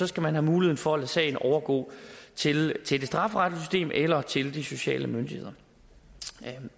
skal man have mulighed for at lade sagen overgå til til det strafferetlige system eller til de sociale myndigheder